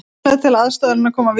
Framlög til aðstoðarinnar koma víða